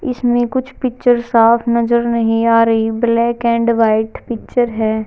इसमें कुछ पिक्चर्स साफ नजर नहीं आ रही ब्लैक एंड व्हाइट पिक्चर हैं।